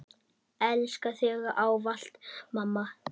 Elska þig ávallt mamma.